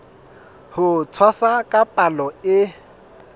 ho tshwasa ka palo e